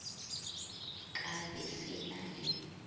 ka be se na le